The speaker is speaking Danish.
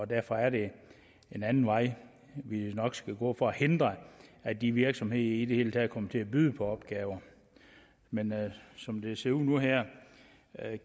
derfor er det en anden vej vi nok skal gå for at hindre at de virksomheder i det hele taget kommer til at byde på opgaver men som det ser ud nu og her